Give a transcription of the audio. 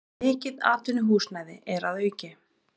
Mikið atvinnuhúsnæði er að auki